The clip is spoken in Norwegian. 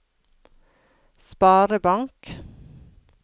sparebank